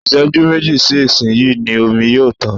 Ìṣẹ́jú méjì sí ìsin yìí ni omi yóò tán